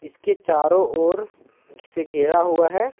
इसके चारों ओर से घेरा हुआ है।